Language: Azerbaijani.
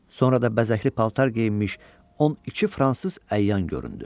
Sonra da bəzəkli paltar geyinmiş 12 fransız əyan göründü.